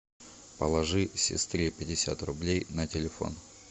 положи сестре пятьдесят рублей на телефон